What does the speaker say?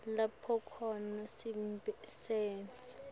lapho khona sisebenti